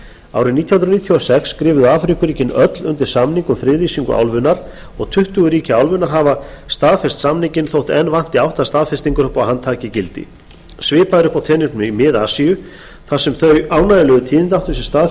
árið nítján hundruð níutíu og sex skrifuðu afríkuríkin öll undir samning um friðlýsingu álfunnar og tuttugu ríki álfunnar hafa staðfest samninginn þó enn vanti átta staðfestingar upp á að hann taki gildi svipað er uppi á teningnum í mið asíu þar sem þau ánægjulegu tíðindi áttu sér stað